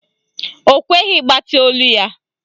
Ọ kweghị ịgbatị olu ya.